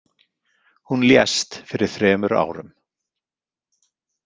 Hún lést fyrir þremur árum.